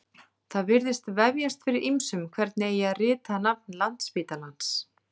Það virðist vefjast fyrir ýmsum hvernig eigi að rita nafn Landspítalans.